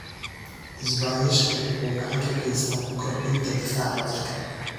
Isbaanishku wuxuu gacan ka geysataa kordhinta difaaca jirka.